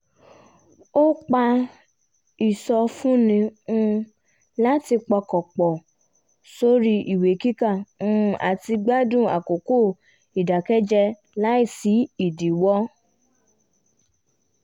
ó pa ìsọfúnni um láti pọkàn pọ̀ sórí ìwé kíkà um àti gbádùn àkókò ìdàkẹ́jẹ́ láìsí ìdíwọ́